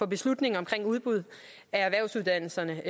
beslutningen omkring udbud af erhvervsuddannelserne